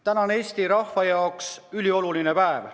Täna on Eesti rahva jaoks ülioluline päev.